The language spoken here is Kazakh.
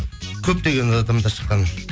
көптеген адамдар шыққан